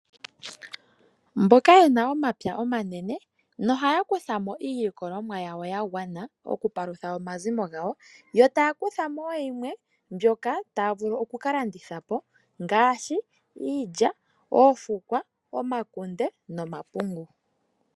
Mboka ye na omapya omanene nohaya kutha mo iilikolomwa ya gwana okupalutha omazimo gawo. Ohaya kutha mo wo yimwe mbyoka taya vulu oku ka landitha po ngaashi iilya, oofukwa, omakunde nomapungu.